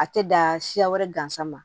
A tɛ dan siya wɛrɛ gansan ma